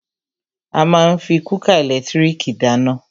A má ń fí kúkà ẹ̀lẹ́tírìkì dáná.